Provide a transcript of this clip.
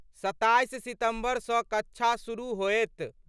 27 सितंबर सं कक्षा शुरू होएत।